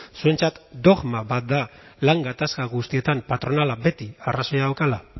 zuentzat dogma bat da lan gatazka guztietan patronala beti arrazoia daukala